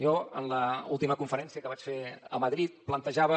jo en l’última conferència que vaig fer a madrid plantejava